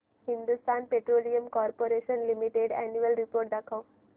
Hindustan Petroleum Corporation Limited annual report दाखव